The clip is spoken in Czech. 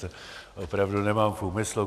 To opravdu nemám v úmyslu.